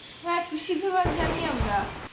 হ্যাঁ কৃষিবিভাগ জানি আমরা।